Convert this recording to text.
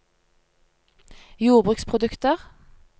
jordbruksprodukter